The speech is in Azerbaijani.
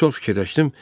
Çox fikirləşdim.